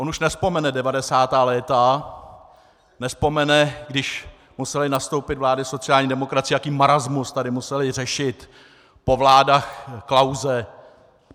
On už nevzpomene 90. léta, nevzpomene, když musely nastoupit vlády sociální demokracie, jaký marasmus tady musely řešit po vládách Klause.